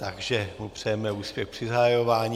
Takže mu přejeme úspěch při zahajování.